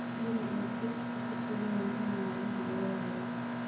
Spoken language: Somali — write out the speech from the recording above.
Hubi in chicks ku filan yihiin maalmaha ugu horreeya.